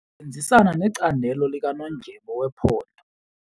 Sisebenzisana necandelo likanondyebo wephondo.